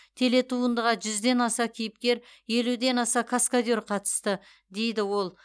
телетуындыға жүзден аса кейіпкер елуден аса каскадер қатысты дейді ол